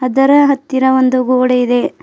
ಇದರ ಹತ್ತಿರ ಒಂದು ಗೋಡೆ ಇದೆ.